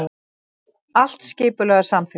Allt skipulag er samþykkt